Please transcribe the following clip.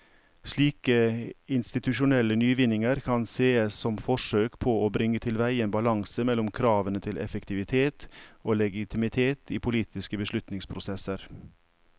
Slike institusjonelle nyvinninger kan sees som forsøk på å bringe tilveie en balanse mellom kravene til effektivitet og legitimitet i politiske beslutningsprosesser.